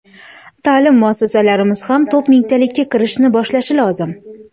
Ta’lim muassasalarimiz ham top mingtalikka kirishni boshlashi lozim.